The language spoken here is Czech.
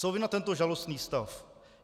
Co vy na tento žalostný stav?